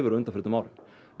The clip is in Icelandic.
á undanförnum árum